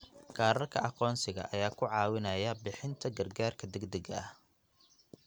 Kaararka aqoonsiga ayaa ku caawinaya bixinta gargaarka degdegga ah.